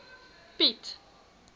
piet